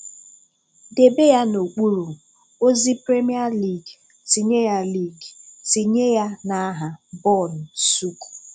Debe ya n'okpuru: ozi, premier league. Tinye ya league. Tinye ya n'aha :bọọlụ, sook.